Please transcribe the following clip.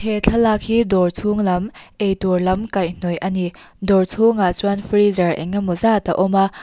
he thlalak hi dawr chhung lam eitur lam kaihhnawih a ni dawr chhungah chuan freezer engemaw zat a awm a.